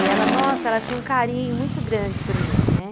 E ela, nossa, ela tinha um carinho muito grande por mim, né?